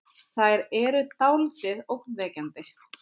Þær eru dáldið ógnvekjandi.